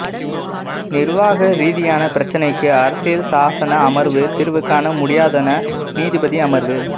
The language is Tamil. நிர்வாக ரீதியான பிரச்சனைக்கு அரசியல் சாசன அமர்வு தீர்வு காண முடியாதென நீதிபதி அமர்வு